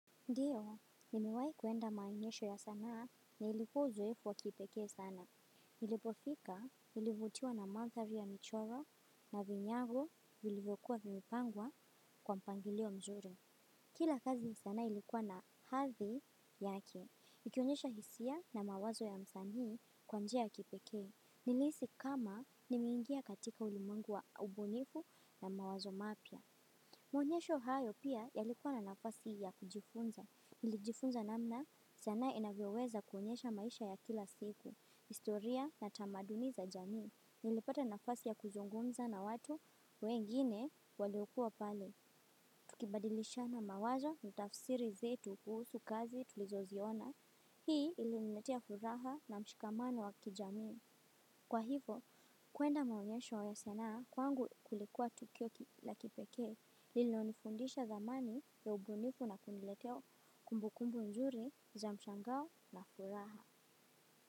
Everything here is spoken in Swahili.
Ndiyo, nimewai kuenda maonyesho ya sanaa na ilikua uzoefu wa kipekee sana. Nilipofika, nilivutiwa na manthari ya michoro na vinyago vilivokuwa vimepangwa kwa mpangilio mzuri. Kila kazi sanaa ilikuwa na hathi yake. Ikionyesha hisia na mawazo ya msanii kwa njia ya kipekee. Niliisi kama nimeingia katika ulimwengu wa ubunifu na mawazo mapya. Maonyesho hayo pia yalikuwa na nafasi ya kujifunza. Ilijifunza namna sanaa inavyoweza kuonyesha maisha ya kila siku, istoria na tamaduni za jamii. Nilipata nafasi ya kuzungumza na watu, wengine waliokua pale. Tukibadilishana mawazo, kutafsiri vitu kuhusu kazi tulizo ziona hii iliniletea furaha na mshikamano wa kijamii kwa hivo kwenda maonyesho ya sanaa kwangu kulikua tukio la kipekee. Ilonifundisha thamani ya ubunifu na kuniletea kumbukumbu nzuri za mshangao na furaha.